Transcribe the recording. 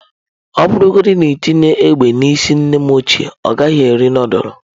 Ọ bụrụgodị na i tinye egbe n’isi nnem ochie, ọ gaghị eri nudulu.